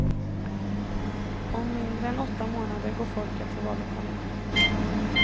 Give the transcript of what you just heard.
Om mindre än åtta månader går folket till vallokalerna.